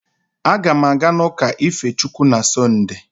Aga m aga n'ụka ife Chukwu na Sọnde